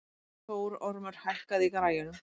Þórormur, hækkaðu í græjunum.